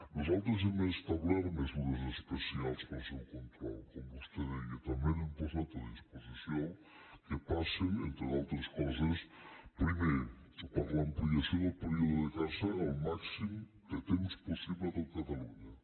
nosaltres hem establert mesures especials per al seu control com vostè deia també n’hem posat a disposició que passen entre altres coses primer per l’amplia ció del període de caça al màxim de temps possible a tot catalunya